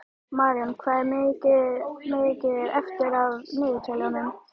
Marjón, hvað er mikið eftir af niðurteljaranum?